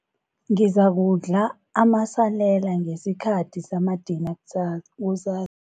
Ngizakudla amasalela ngesikhathi samadina sa kusa